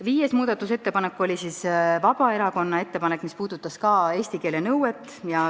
Viies muudatusettepanek oli Vabaerakonna ettepanek, mis puudutas ka eesti keele oskuse nõuet.